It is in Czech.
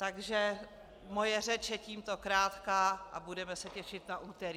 Takže moje řeč je tímto krátká a budeme se těšit na úterý.